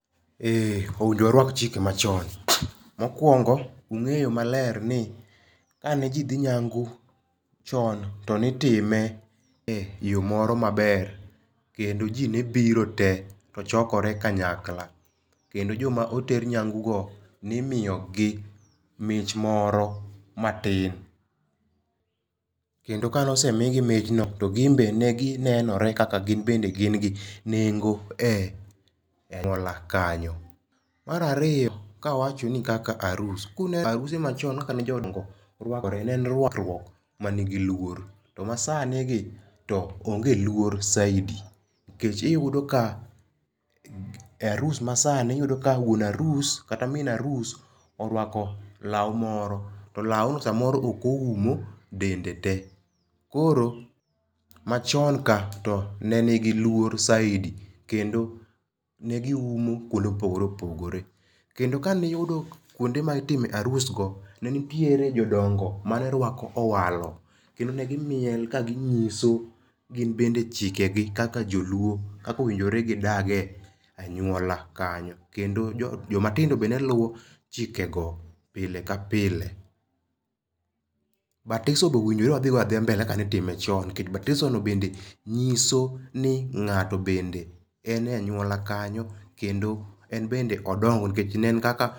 Eeh, onego waruak chike machon, mokuongo ung'eyo maler ni kane jii dhi nyangu chon tone itime e yoo moro maber kendo ji ne biro tee tochokore kanyakla kendo joma oter nyangu go nimiyo gi mich moro matin. Kendo kane osemigi mich no to gin be neginenore kaka gin bende gin gi nengo e aluora kanyo. Mar ariyo kawachoni kaka arus, kune kaka aruse machon kaka jodongo ne rwakore ne en rwakruok manigi luor to masani gi to onge luor saidi nikech iyudo ka,e arus masani uyudo ka wuon arus kata min arus orwako lau moro to lao no samoro ok oumo dende tee, koro machon ka ne nigi luor saidi kendo negiumo kuonde mopogore opogore kendo kane iyudo kuonde mitime arus go ne nitiere jodongo mane rwako owalo kendo negimiel kaginyiso gin bende chikegi kaka joluo kaka owinjore gidage kaka anyuola kanyo, joma tindo be neluo chike go pile ka pile. Batiso be onego wadho go adhiya mbele. kaka nitime chon nikech batiso no bende nyiso ni ngato bende en e anyualo kanyo kendo en bende odongo nikech ne en kaka